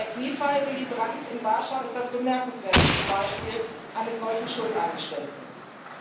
Der Kniefall Willy Brandts in Warschau ist das bemerkenswerteste Beispiel eines solchen Schuldeingeständnisses.